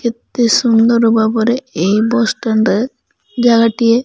ଏତେ ସୁନ୍ଦର ଭାବରେ ଏହି ବସ ଷ୍ଟାଣ୍ଡ ରେ ଜାଗାଟିଏ।